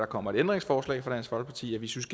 kommer et ændringsforslag fra dansk folkeparti at vi synes